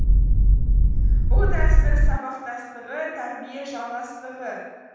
бұл дәстүр сабақтастығы тәрбие жалғастығы